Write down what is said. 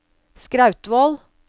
Skrautvål